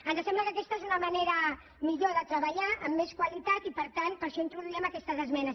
ens sembla que aquesta és una manera millor de treballar amb més qualitat i per tant per això introduíem aquestes esmenes